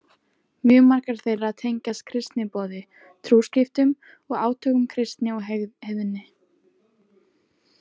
Mjög margar þeirra tengjast kristniboði, trúskiptum og átökum kristni og heiðni.